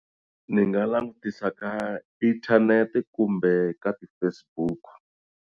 Ni nga langutisa ka inthanete kumbe ka ti-Facebook.